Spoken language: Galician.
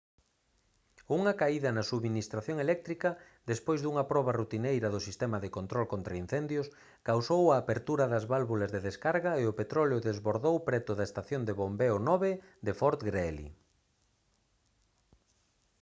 unha caída na subministración eléctrica despois dunha proba rutineira do sistema de control contraincendios causou a apertura das válvulas de descarga e o petróleo desbordou preto da estación de bombeo 9 de fort greely